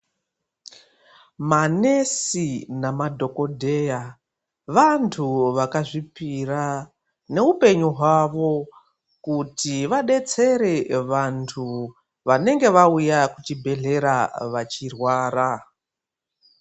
Manesi namadhokodheya vantu vakazvipira neupenyu hwawo kuti vadetsere vantu vanenge vauya kuchibhedhlera vachirwara.